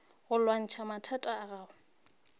go lwantšha mathata a gago